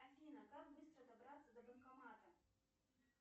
афина как быстро добраться до банкомата